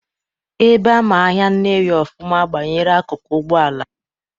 Ebe ama ahịa Nnewi ọfụma banyere akụkụ Ụgbọala,